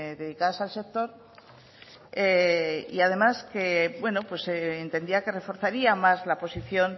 dedicadas al sector y además entendía que reforzaría más la posición